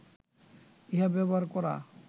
ইহা ব্যবহার করা